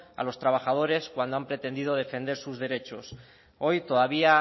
a los trabajadores cuando han pretendido defender sus derechos hoy todavía